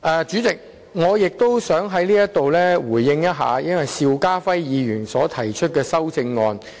主席，我也想在此回應邵家輝議員的修正案。